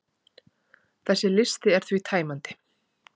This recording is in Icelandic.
þessi listi er því tæmandi